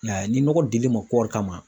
I y'a ye ni nɔgɔ dilen ma kɔɔri kama